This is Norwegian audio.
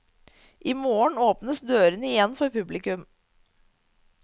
I morgen åpnes dørene igjen for publikum.